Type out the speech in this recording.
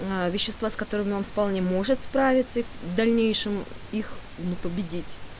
ээ вещества с которыми он вполне может справиться и в дальнейшем их не победить